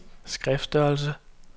skriftstørrelse